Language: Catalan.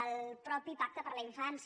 el mateix pacte per a la infància